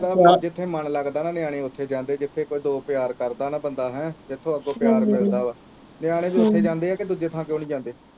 ਜਿਥੇ ਮਨ ਲੱਗਦਾ ਨਾ ਨਿਆਣੇ ਉਥੇ ਜਾਂਦੇ ਜਿਥੇ ਪਿਆਰ ਕਰਦਾ ਨਾ ਬੰਦਾ ਹਮ ਜਿਥੋਂ ਅੱਗੋਂ ਪਿਆਰ ਮਿਲਦਾ ਵਾ ਨਿਆਣੇ ਵੀ ਉਥੇ ਜਾਂਦੇ ਆ ਤੇ ਦੂਜੇ ਥਾਂ ਕਿਉਂ ਨੀ ਜਾਂਦੇ